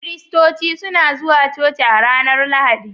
Kiristoci suna zuwa coci a ranar Lahadi.